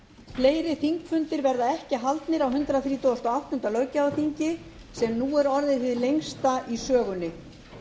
fleiri þingfundir verða ekki haldnir á hundrað þrítugasta og áttunda löggjafarþingi sem nú er orðið hið lengsta í sögunni